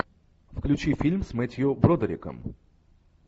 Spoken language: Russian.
включи фильм с мэттью бродериком